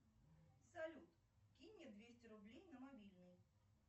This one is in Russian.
салют кинь мне двести рублей на мобильный